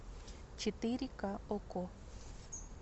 четыре ка окко